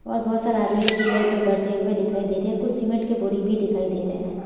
और बहुत सारा आदमी जो चेयर पर बैठे हुए दिखाई दे रही है कुछ सीमेंट के बोरी भी दिखाई दे रहे हैं।